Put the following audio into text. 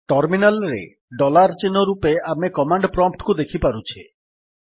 terminal ରେ dollar ଚିହ୍ନ ରୂପେ ଆମେ କମାଣ୍ଡ୍ ପ୍ରମ୍ପ୍ଟ୍ କୁ ଦେଖିପାରୁଛେ